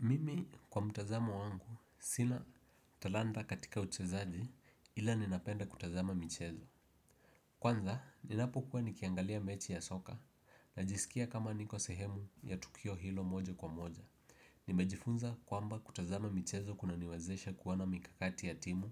Mimi kwa mtazamo wangu, sina talanda katika uchezaji ila ninapenda kutazama michezo. Kwanza, ninapokuwa nikiangalia mechi ya soka, najisikia kama niko sehemu ya tukio hilo moja kwa moja. Nimejifunza kwamba kutazama michezo kuna niwezesha kuona mikakati ya timu,